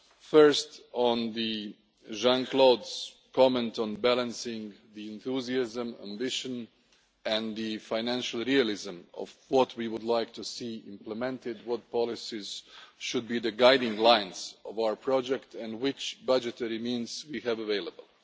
First, on Jean Claude's comment on balancing the enthusiasm, ambition and the financial realism of what we would like to see implemented, what policies should be the guiding lines of our project and which budgetary means we have available.